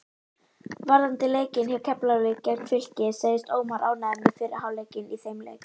Varðandi leikinn hjá Keflavík gegn Fylki segist Ómar ánægður með fyrri hálfleikinn í þeim leik.